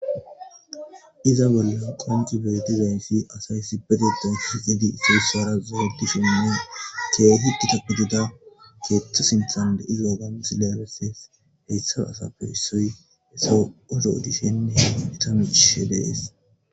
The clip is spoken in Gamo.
iza bollan koncubirtizayinsi asay issipetetan shikidi issoyssara zoedi suna keehi di ta pudida keeththo sintan deizoogon sileeleses heestha asapfe issoy eso odo odishennei tami ishe dees